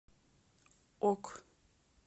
ок